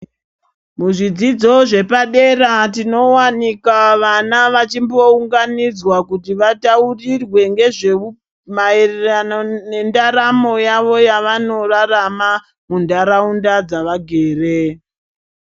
Muzvidzidzo zvepadera tinowanika vana vachimbounganidzwa kuti vataurirwe maererano nendaramo yavo yavanorarama munharaunda dzevagere.